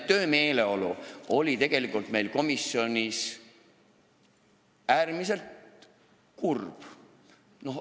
Töömeeleolu oli komisjonis äärmiselt kurb.